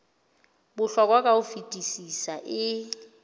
bohlokwa ka ho fetisisa e